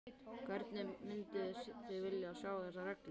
Hvernig mynduð þið vilja sjá þessar reglur?